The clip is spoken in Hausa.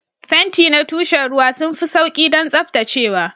Fenti na tushen ruwa sun fi sauƙi don tsaftacewa.